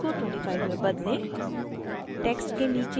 font size को 25 में बदलें